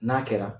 N'a kɛra